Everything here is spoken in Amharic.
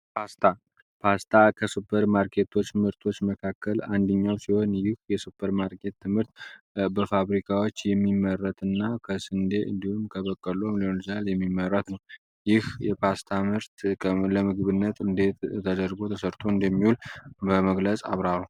ፖስታ ከሱፐር ማርኬቶች ምህርቶች መካከል አንድኛው ሲሆን ይህ የሱፐር ማርኬት ትምህርት በፋብሪካዎች የሚመረት እና ከስንዴ እንዲሁም ከበቀሉ የሚሊዮን ል የሚመረት ነው፡፡ ይህ የፓስታ ምርት ለምግብነት እንዴት ተደርጎ ተሰርቶ እንደሚውል በመግለጽ አብራራ?